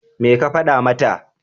Me ka faɗa mata?